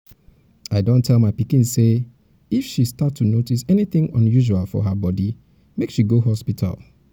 i don tell my pikin say if um she start to to notice anything unusual for her body make she go hospital